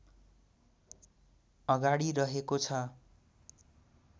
अगाडि रहेको छ